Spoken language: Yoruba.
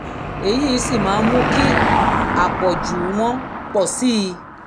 èyí sì máa ń mú kí àpọ̀jù wọn pọ̀ sí i